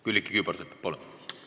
Külliki Kübarsepp, palun!